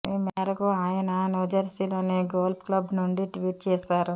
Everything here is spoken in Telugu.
ఈ మేరకు ఆయన న్యూజెర్సిలోని గోల్ఫ్ క్లబ్ నుండి ట్వీట్ చేశారు